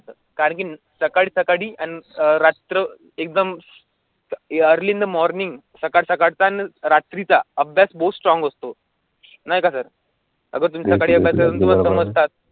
कारगिल सकाळी सकाळी आणि रात्र एकदम अर्ली मॉर्निंग सकाळचा रात्रीचा अभ्यास बुशरा स्ट्रॉनघ असतो नाही का?